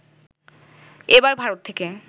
এবার ভারত থেকে